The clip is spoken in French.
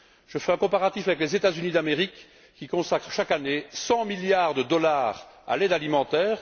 Je fais un comparatif avec les États Unis d'Amérique qui consacrent chaque année 100 milliards de dollars à l'aide alimentaire.